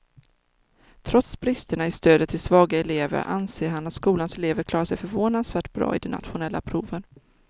Trots bristerna i stödet till svaga elever anser han att skolans elever klarar sig förvånansvärt bra i de nationella proven.